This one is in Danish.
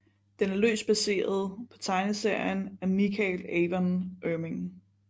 Den er løst baseret på tegneserien af Michael Avon Oeming